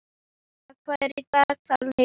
Albína, hvað er í dagatalinu í dag?